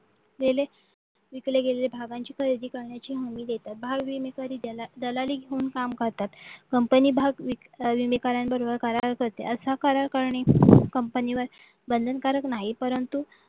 गेले विकले गेले भागांची खरेदी करण्याची हमी देतात घाव विमे सरी ज्यांना दलाली म्हणून काम करतात कंपनी भाग विक्री काऱ्यांबरोबर असा करार करणी कंपनीवर बंधनकारक नाही परंतु